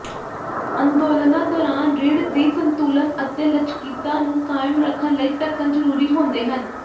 ਅੰਦੋਲਨਾਂ ਦੌਰਾਨ ਰੀੜ੍ਹ ਦੀ ਸੰਤੁਲਨ ਅਤੇ ਲਚਕੀਤਾ ਨੂੰ ਕਾਇਮ ਰੱਖਣ ਲਈ ਢੱਕਣ ਜ਼ਰੂਰੀ ਹੁੰਦੇ ਹਨ